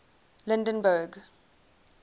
lydenburg